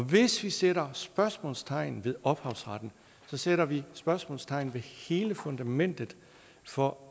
hvis vi sætter spørgsmålstegn ved ophavsretten sætter vi spørgsmålstegn ved hele fundamentet for